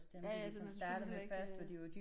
Ja ja det men selvfølgelig heller ikke øh